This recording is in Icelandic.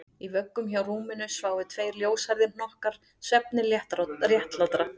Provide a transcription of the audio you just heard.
Í vöggum hjá rúminu sváfu tveir ljóshærðir hnokkar svefni réttlátra